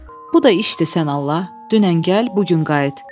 Bu da işdir sən Allah, dünən gəl, bu gün qayıt.